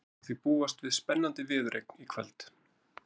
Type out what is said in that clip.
Það má því búast við spennandi viðureign í kvöld.